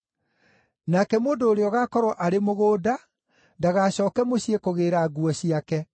Nake mũndũ ũrĩa ũgaakorwo arĩ mũgũnda ndagacooke mũciĩ kũgĩĩra nguo ciake.